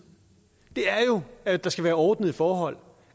er jo at der skal være ordnede forhold